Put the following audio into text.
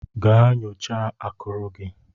Gaa nyocha akuru gị!